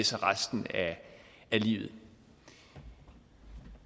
sig resten af livet